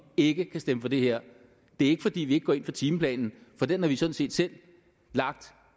ikke kan stemme for det her det er ikke fordi vi ikke går ind for timeplanen for den har vi sådan set selv lagt